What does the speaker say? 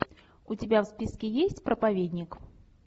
у тебя в списке есть проповедник